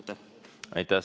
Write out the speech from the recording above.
Aitäh!